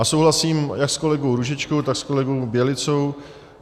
A souhlasím jak s kolegou Růžičkou, tak s kolegou Bělicou.